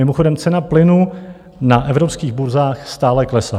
Mimochodem cena plynu na evropských burzách stále klesá.